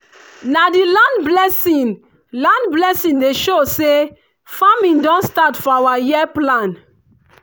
na di land blessing land blessing dey show say farming don start for our year plan.